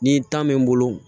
Ni tan bɛ n bolo